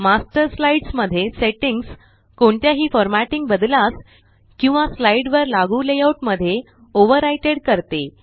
master slides मध्ये settings कोणत्याही formatting बद्लास किंवा स्लाइड वर लागू लेआउट मध्ये ओवरराइड करते